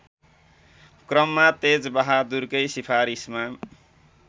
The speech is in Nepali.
क्रममा तेजबहादुरकै सिफारिसमा